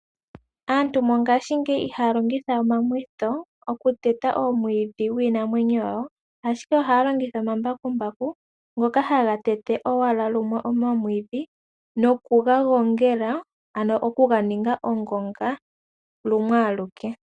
Aantu mongaashi ngeyi ihaya longitha we omamwitho okuteta omwiidi giinamwenyo yawo ashike ohaya longitha omambakumbaku ngoka haga tete owala lumwe omwiidhi nokuga gongela ano okuga ninga ongonga lumwe aluke.